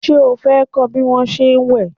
O fẹ́ kọ́ bí wón se ń wẹ̀?